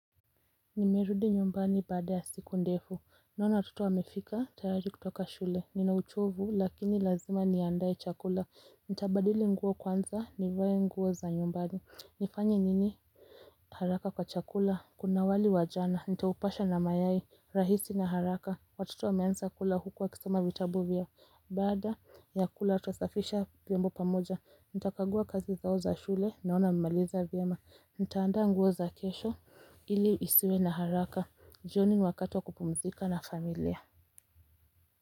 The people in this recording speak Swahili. Nimerudi nyumbani baada ya siku ndefu. Naona watoto wamefika tayari kutoka shule. Nina uchovu lakini lazima niandae chakula. Nitabadili nguo kwanza nivae nguo za nyumbani. Nifanye nini haraka kwa chakula. Kuna wali wa jana. Nitaupasha na mayai. Rahisi na haraka. Watoto wameanza kula huku wakisoma vitabu vyao. Baada ya kula tutasafisha vyombo pamoja Nitakagua kazi zao za shule. Naona nimemaliza vyema. Nitaanda nguo za kesho. Ili isiwe na haraka jioni ni wakati wa kupumzika na familia.